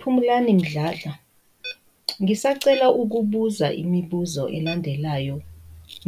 Phumlani Mdladla, ngisacela ukubuza imibuzo elandelayo